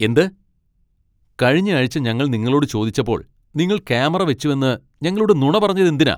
എന്ത് ? കഴിഞ്ഞയാഴ്ച ഞങ്ങൾ നിങ്ങളോട് ചോദിച്ചപ്പോൾ നിങ്ങൾ ക്യാമറ വെച്ചുവെന്ന് ഞങ്ങളോട് നുണ പറഞ്ഞത് എന്തിനാ?